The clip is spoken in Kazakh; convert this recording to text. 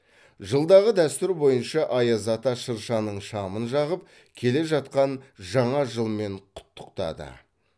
жылдағы дәстүр бойынша аяз ата шыршаның шамын жағып келе жатқан жаңа жылмен құттықтады